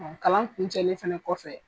Kalan kuncɛlen fana kɔfɛ.